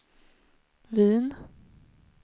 Wien